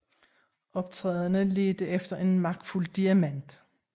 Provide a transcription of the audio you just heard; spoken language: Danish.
Optræderne ledte efter en magtfuld diamant